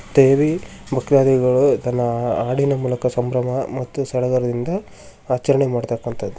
ದೇವಿ ಮಕ್ಕಳಾದೆ ಹಾಡಿನ ಮೂಲಕ ಸಂಭ್ರಮ ಸಡಗರದಿಂದ ಆಚರಣೆ ಮಾಡ್ತಕ್ಕಂತದ್ದು .